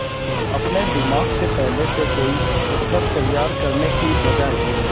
अपने दिमाग में पहले से कोई उत्तर तैयार करने की बजाय